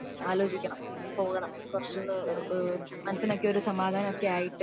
ആലോചിക്കണം പോവണം കുറച്ചൊക്കെ മനസിന് ഒരു സമാധാനം ഒക്കെ ആയിട്ട്